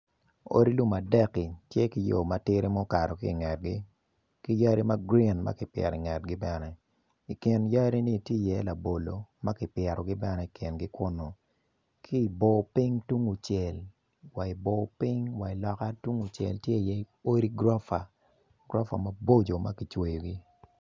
Odi lum adek-ki tye ki yo ma okato ki i kingi ki yadi magrin ma kipito ingrtgi bene i kin yadi-ni tye labolo ma kipitoi kingi bene ki i bor piny tung kucel wa i bor piny tye odi gurofa.